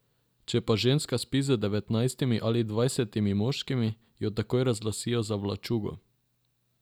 Če pa ženska spi z devetnajstimi ali dvajsetimi moškimi, jo takoj razglasijo za vlačugo.